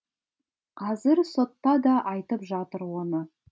қазір сотта да айтып жатыр оны